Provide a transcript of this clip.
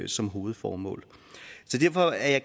som hovedformål så derfor er jeg